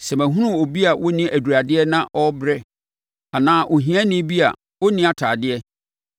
Sɛ mahunu obi a ɔnni aduradeɛ na ɔrebrɛ, anaa ohiani bi a ɔnni atadeɛ,